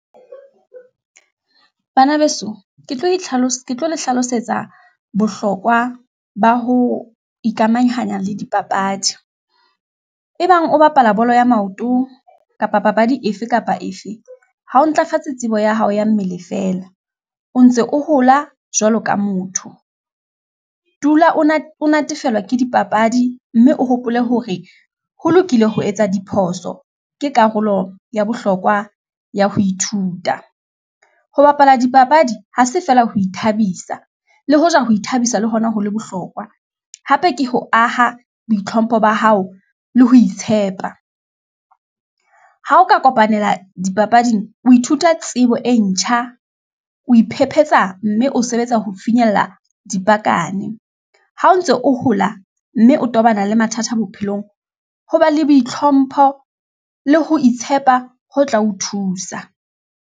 Bana beso, ke tlo le hlalosetsa bohlokwa ba ho ikamahanya le dipapadi, e bang o bapala bolo ya maoto kapa papadi efe kapa efe, ha o ntlafatsa tsebo ya hao ya mmele feela o ntse o hola jwalo ka motho, tula o na o natefellwa ke dipapadi, mme o hopole hore ho lokile ho etsa diphoso, ke karolo ya bohlokwa ya ho ithuta, ho bapala dipapadi ha se feela ho ithabisa, le hoja ho ithabisa le hona ho le bohlokwa, hape ke ho aha boitlhompho ba hao le ho itshepa. Ha o ka kopanela dipapading, o ithuta tsebo e ntjha, o iphephetsa, mme o sebetsa ho finyella dipakane, ha o ntso o hola mme o tobana le mathata bophelong, Ho ba le boitlhompho le ho itshepa ho tla o thusa.